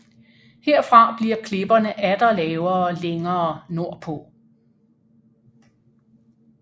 Herfra bliver klipperne atter lavere længere nordpå